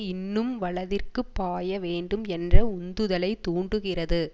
இன்னும் வலதிற்குப் பாய வேண்டும் என்ற உந்துதலை தூண்டுகிறது